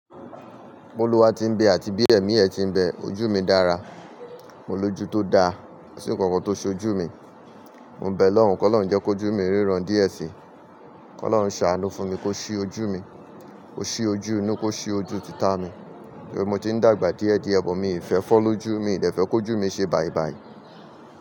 B'oluwa ti ń bẹ àti bí ẹ̀mí ẹ ti ń bẹ ojú mi dára. Mo lójú tó dáa, kò sí ǹkankan tó ṣé ojú mi. Mo bẹ'lọ́run kí ọlọ́run jẹ́ kó ojú mi ríran díẹ̀ sí. Kí ọlọ́run ṣàánú fún mi kó ṣí ojú mi, ó ṣí ojú inú kó ṣí ojú títà mi. Tori mo tí ń dàgbà díẹ̀ díẹ̀, but mi ò fẹ́ fọ́ lójú, miì fẹ́ kó ojú mi ṣe bàì bàì.